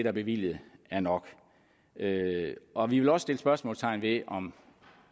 er bevilget er nok og vi vil også sætte spørgsmålstegn ved om